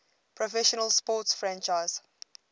professional sports franchise